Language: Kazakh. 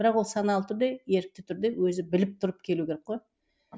бірақ ол саналы түрде ерікті түрде өзі біліп тұрып келу керек қой